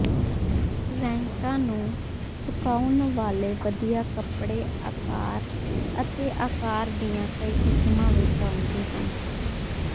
ਰੈਕਾਂ ਨੂੰ ਸੁਕਾਉਣ ਵਾਲੇ ਵਧੀਆ ਕੱਪੜੇ ਆਕਾਰ ਅਤੇ ਆਕਾਰ ਦੀਆਂ ਕਈ ਕਿਸਮਾਂ ਵਿੱਚ ਆਉਂਦੇ ਹਨ